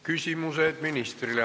Küsimused ministrile.